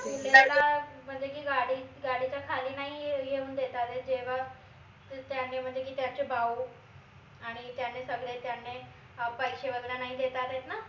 म्हनजे की गाडी गाडीच्या खाली नाई येऊन देतायत जेव्हा त्याने म्हनजे की त्याचे भाऊ आणि त्याने सगडे त्यांने अह पैशे वगैरे नाई देतायत न